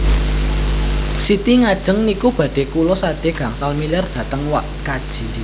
Siti ngajeng niku badhe kula sade gangsal miliar dhateng wak kaji